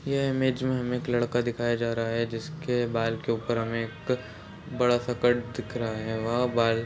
यह इमेज में हमें एक लड़का दिखाया जा रहा है जिसके बाल के ऊपर में एक बड़ा -सा कट दिख रहा है वह बाल--